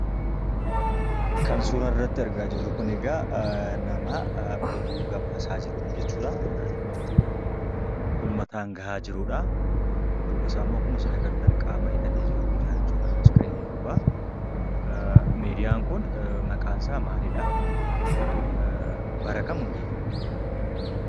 Kan suura irratti argaa jirru kun egaa nama oduu gabaasaa jirudha jechuudha. Nama oduu uummataa gahaa jirudha. Dudduuba isaarra immoo akkuma agartan qaama hidhatee jirutu jiraa iskiriinii gubbaa. Miidiyaan kun maqaan isaa maalidhaa? Bara kam hundeeffame?